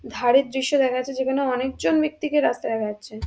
ধারের দৃশ্য দেখা যাচ্ছে যেখানে অনেক জন ব্যক্তিকে রাস্তায় দেখা যাচ্ছে।